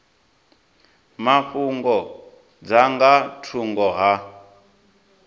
mafhungo dza nga thungo ha